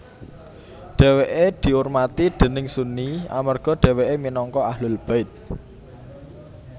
Dhèwèké diurmati déning Sunni amarga dhèwèké minangka Ahlul Bait